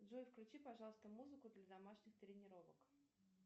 джой включи пожалуйста музыку для домашних тренировок